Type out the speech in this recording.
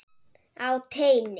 Á teini.